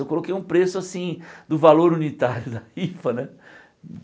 Eu coloquei um preço assim, do valor unitário da rifa, né?